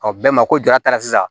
Ɔ bɛɛ ma ko jara sisan